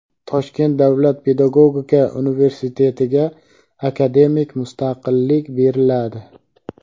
Toshkent davlat pedagogika universitetiga akademik mustaqillik beriladi.